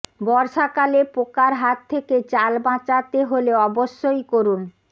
বর্ষাকালে পোকার হাত থেকে চাল বাঁচাতে হলে অবশ্যই করুন